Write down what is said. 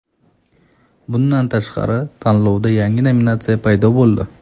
Bundan tashqari, tanlovda yangi nominatsiya paydo bo‘ldi.